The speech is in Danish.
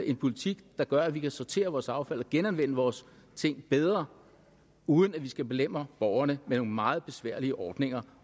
en politik der gør at vi kan sortere vores affald og genanvende vores ting bedre uden at vi skal belemre borgerne med nogle meget besværlige ordninger